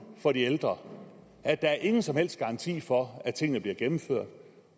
for de ældre at der ingen som helst garanti er for at tingene bliver gennemført